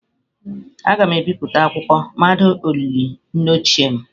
Aga m ebipụta akwụkwọ mmado olili nne ochie m.